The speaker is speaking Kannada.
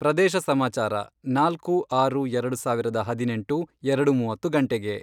ಪ್ರದೇಶ ಸಮಾಚಾರ, ನಾಲ್ಕು, ಆರು, ಎರಡು ಸಾವಿರದ ಹದಿನೆಂಟು, ಎರಡು ಮೂವತ್ತು ಗಂಟೆಗೆ